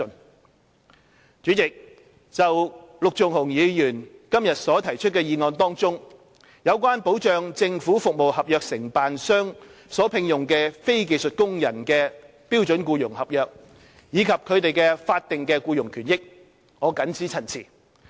代理主席，就陸頌雄議員今天所提出的議案中，有關保障政府服務合約承辦商所聘用的非技術工人的標準僱傭合約，以及他們的法定僱傭權益，我謹此陳辭。